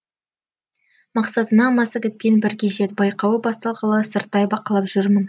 мақсатыңа массагетпен бірге жет байқауы басталғалы сырттай бақылап жүрмін